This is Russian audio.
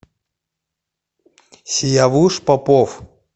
сиявуш попов